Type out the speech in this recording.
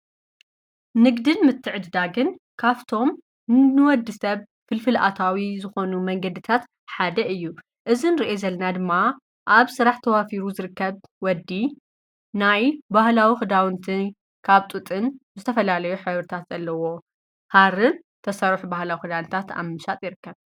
ንግድን ምትዕድዳግን ካፍቶም ንወዲ ሰብ ፍልፍልኣታዊ ዝኾኑ መንገድታት ሓደ እዩ እዝን ርአ ዘለና ድማ ኣብ ሥራሕ ተዋፊሩ ዝርከብ ወዲ ናይ ባህላዊ ኽዳውንትን ካብ ጡጥን ዘተፈላለዩ ኅወርታት ዘለዎ ሃርን ተሠርፍ ብህላዊ ኽዳንታት ኣምሳጥ ይርከብ።